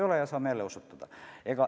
Kui ei ole, saame jälle osutada.